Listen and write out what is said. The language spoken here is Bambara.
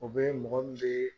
O bɛ mɔgɔ min bɛ